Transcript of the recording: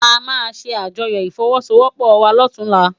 Amá sé ájòyò ifòwòsówòpò wá lòtúnlá